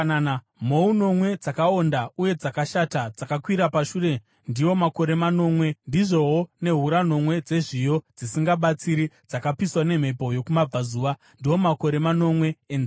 Mhou nomwe dzakaonda uye dzakashata dzakakwira pashure, ndiwo makore manomwe, ndizvowo nehura nomwe dzezviyo dzisingabatsiri dzakapiswa nemhepo yokumabvazuva; ndiwo makore manomwe enzara.